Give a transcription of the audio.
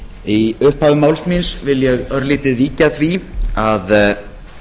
í upphafi máls míns vil ég örlítið víkja að því að